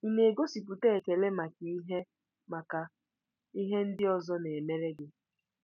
Ị na-egosipụta ekele maka ihe maka ihe ndị ọzọ na-emere gị?